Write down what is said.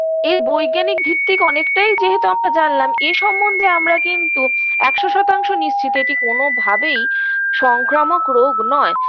এর বৈজ্ঞানিক ভিত্তি অনেকটাই যেহেতু আমরা জানলাম এ সম্বন্ধে আমরা কিন্তু একশো শতাংশ নিশ্চিত এটি কোনভাবেই সংক্রামক রোগ নয়